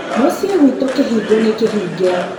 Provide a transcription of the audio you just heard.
mũciĩ gwitũ kĩhingo nĩ kĩhnge